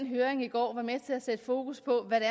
høring i går var med til at sætte fokus på hvad det